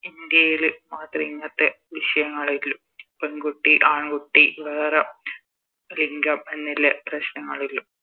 ഇന്ത്യയില് മാത്രേ ഇങ്ങത്തെ വിശയങ്ങളിള്ളൂ പെൺകുട്ടി ആൺകുട്ടി വേറെ ലിംഗം എന്നില്ലേ പ്രശ്നങ്ങളിള്ളൂ